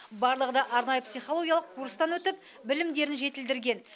барлығы да арнайы психологиялық курстан өтіп білімдерін жетілдірген